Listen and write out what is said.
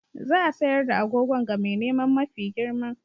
Za a sayar da agogon ga mai neman mafi girma.